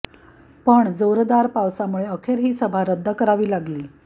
पण जोरदार पावसामुळे अखेर ही सभा रद्द करावी लागली